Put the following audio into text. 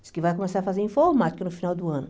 Diz que vai começar a fazer informática no final do ano.